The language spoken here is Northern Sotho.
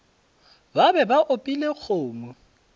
ba be ba opile kgomo